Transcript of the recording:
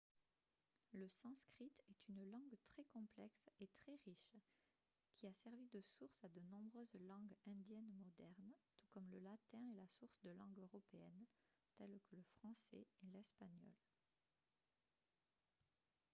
le sanskrit est une langue très complexe et très riche qui a servi de source à de nombreuses langues indiennes modernes tout comme le latin est la source de langues européennes telles que le français et l'espagnol